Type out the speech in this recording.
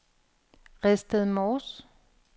Redsted Mors